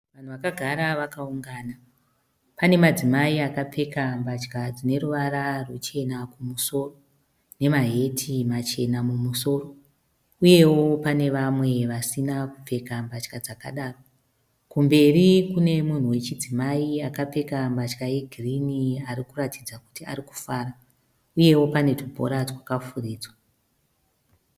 Vanhu vakagara vakaungana. Pane madzimai akapfeka mbatya dzine ruvara ruchena kumusoro nemaheti machena mumusoro uyewo pane vamwe vasina kupfeka mbatya dzakadaro. Kumberi kune munhu wechidzimai akapfeka mbatya yegirini ari kuratidza kuti ari kufara uyewo pane tubhora twakafuridzwa.